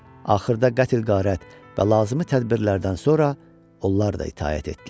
Axırda qətl-qarət və lazımi tədbirlərdən sonra onlar da itaət etdilər.